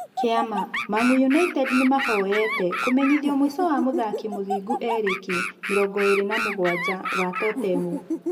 (Kĩama) Mang'u United Nĩmaahoyete kũmenyithio mũico wa mũthaki Mũthingu Erĩki, mĩrongoĩrĩ na mũgwaja, wa Totemu.